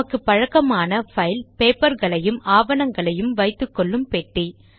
நமக்கு பழக்கமான பைல் பேப்பர்களையும் ஆவணங்களையும் வைத்துக்கொள்ளும் பெட்டி